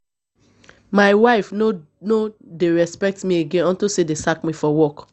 my wife no no dey respect me again unto say dey sack me for work